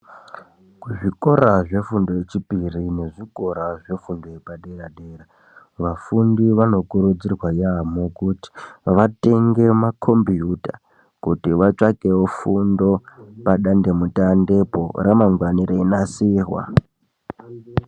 Kuzvikora zvefundo yechipiri nezvikora zvefundo yepadera-dera. Vafundi vano kuridzirwa yaampho kuti vatenge makhombiyuta, kuti vatsvakewo fundo padandemutande po ramangwani reinasirwa.